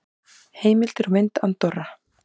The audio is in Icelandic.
Heimildir og mynd Andorra.